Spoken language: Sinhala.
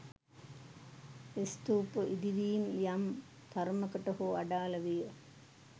ස්තූප ඉදිවීම් යම් තරමකට හෝ අඩාල විය.